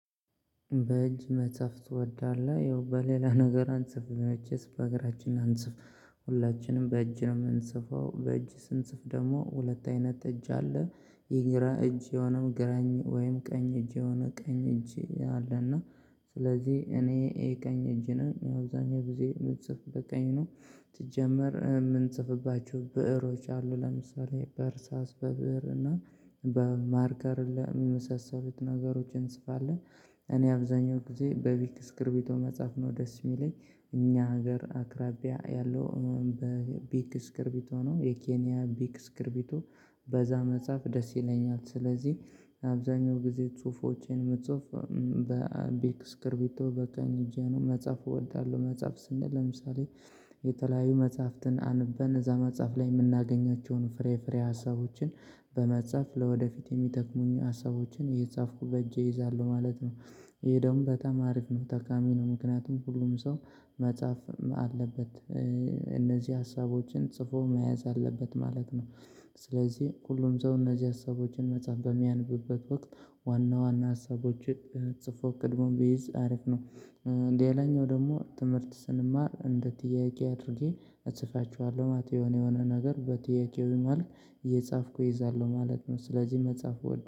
በእጅ መጻፍ ትወዳለህ ያው በሌላ ነገር አንጽፍም መቼስ በእግራችን አንጽፍ ሁላችንም በእጅ ነው የምንጽፈው። በእጅ ስንጽፍ ደግሞ ሁለት አይነት እጅ አለ የግራ እጅዋ ነው ግራኝ ወይም ቀኝ እጅዋ ነው ቀኝ እጅ አለ እና ስለዚህ እኔ ይሄ ቀኝ እጅ ነኝ። ያው አብዛኛው ጊዜ የምጽፍ በቀኝ ነው። ስጀመር የምንጽፍባችሁ ብእሮች አሉ ለምሳሌ በእርሳስ በብእር እና በማርከር በመሳሰሉት ነገሮች እንጽፋለን። እኔ አብዛኛው ጊዜ በቢክ እስክርቢቶ መጻፍ ነው ደስ የሚለኝ። እኛ ሀገር አቅራቢያ ያለው በቢክ እስክርቢቶ ነው የኬንያ ቢክ እስክርቢቶ በዛ መጻፍ ደስ ይለኛል። ስለዚህ አብዛኛው ጊዜ ጽሁፎቼን የምጽፍ በቢክ እስክርቢቶ በቀኝ እጄ ነው መጻፍ እወዳለሁ። መጻፍ ስንል ለምሳሌ የተለያዩ መጽሐፍትን አንበን እዛ መጽሐፍ ላይ የምናገኛቸውን ፍሬ ፍሬ ሀሳቦችን በመጻፍ ለወደፊት የሚጠቅሙኝ ሀሳቦችን እየጻፍኩ በእጄ ይዛለው ማለት ነው። ይሄ ደግሞ በጣም አሪፍ ነው ጠቃሚ ነው። ምክንያቱም ሁሉም ሰው መጻፍ አለበት። እነዚህ ሀሳቦችን ጽፎ መያዝ አለበት ማለት ነው። ስለዚህ ሁሉም ሰው እነዚህ ሀሳቦችን መጽሐፍ በሚያነብበት ወቅት ዋና ዋና ሀሳቦችን ጽፎ ቀድሞ ቢይዝ አሪፍ ነው። ሌላኛው ደግሞ ትምህርት ስንማር እንደ ጥያቄ አድርጌ እጽፋችኋለሁ ማለት ነው። የሆነ የሆነ ነገር በጥያቄው መሐል እየጻፍኩ እይዛለሁ ማለት ነው። ስለዚህ መጻፍ እወዳለሁ